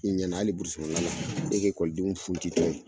I ɲɛna hali kɔnɔna na, e ka ekɔlidenw funti tɔ ye